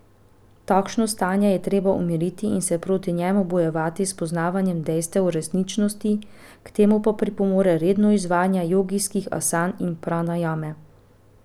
Takšno stanje je treba umiriti in se proti njemu bojevati s poznavanjem dejstev o resničnosti, k temu pa pripomore redno izvajanje jogijskih asan in pranajame.